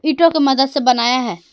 ईंटों की मदद से बनाया है।